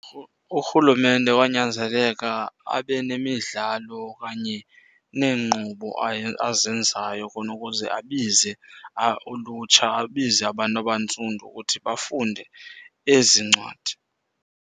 Urhulumente wanyanzeleka abe nemidlalo okanye neenkqubo azenzayo khona ukuze abize ulutsha, abize abantu abantsundu ukuthi bafunde ezi ncwadi.